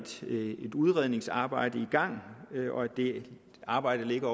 udredningsarbejde i gang og det arbejde ligger